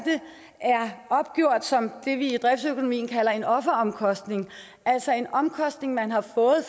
opgjort som det vi i driftsøkonomien kalder en offeromkostning altså en omkostning man har fået